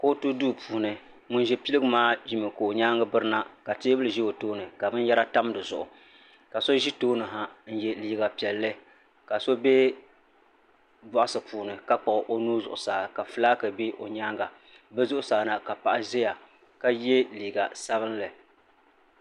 Kootu duu puuni ŋuni zi piligu maa zimi ka o yɛanga biri na ka tɛɛbuli zɛ o tooni ka bini yara tam di zuɣu ka so zi tooni ha n ye liiga piɛlli ka so bɛ bɔɣisi puuni ka kpuɣi o nuu zuɣusaa ka flaki bɛ o yɛanga bi zuɣusaa na ka paɣa ziya ka ye liiga sabinli